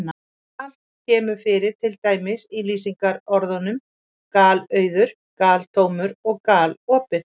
Gal- kemur fyrir til dæmis í lýsingarorðunum galauður, galtómur og galopinn.